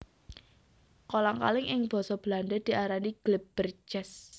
Kolang kaling ing basa Belanda diarani glibbertjes